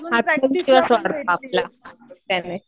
आत्मविश्वास वाढतो आपला त्याने.